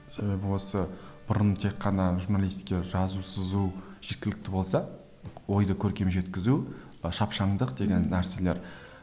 себебі осы бұрын тек қана журналистке жазу сызу жеткілікті болса ойды көркем жеткізу шапшаңдық деген нәрселер